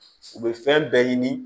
U bɛ fɛn bɛɛ ɲini